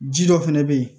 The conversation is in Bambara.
Ji dɔ fɛnɛ bɛ ye